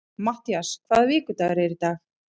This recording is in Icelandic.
Mattías, hvaða vikudagur er í dag?